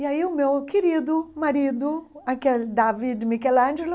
E aí o meu querido marido, aquele Davi Michelangelo,